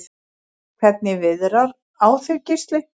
Hvernig viðrar á þig Gísli?